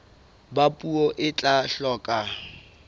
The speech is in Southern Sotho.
ba puo e tla hloka